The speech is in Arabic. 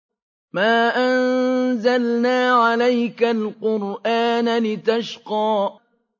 مَا أَنزَلْنَا عَلَيْكَ الْقُرْآنَ لِتَشْقَىٰ